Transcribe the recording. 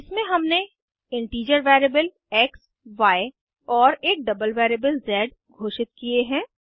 इसमें हमने integer variable x y और एक डबल वेरिएबल ज़ घोषित किये हैं